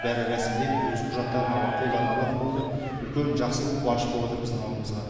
бәрі рәсімдеп өз құжаттарын қолдарына алатын болды үлкен жақсылық қуаныш болып жатыр біздің ауылда